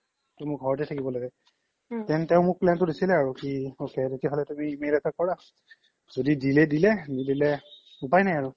তো মই ঘৰতে থকিব লাগে then তেও মোক plan তো দিছিলে আৰু কি ok তেতিয়া হ্'লে তুমি mail এটা কৰা য্দি দিলে দিলে নিদিলে উপাই নাই আৰু